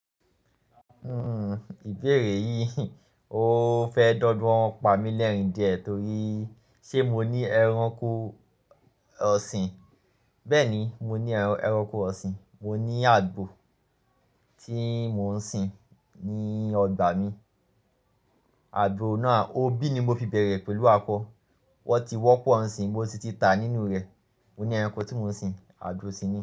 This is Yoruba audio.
Hmm ìbẹ̀rẹ̀ yìí, ó fẹ́ dọ́dún ọ̀n pàmí lẹ́rìn die torí ṣé mo ní ẹranko ọ̀sìn. Bẹ́ẹ̀ ni, mo ní ẹranko ọ̀sìn. Mo ní àgbò tí mò ń sìn ní ọgbà mi. Àgbò náà, òbí ni mo fi bẹ̀rẹ̀ pẹ̀lú àko Wọ́n ti wọ́pọ̀ ǹsìn, mo sì ti ta nínú rẹ̀. Mo ní ẹranko tí mò ń sìn, àgbò si ni.